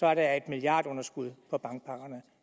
er der et milliardunderskud på bankpakkerne